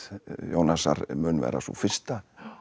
Jónasar mun vera sú fyrsta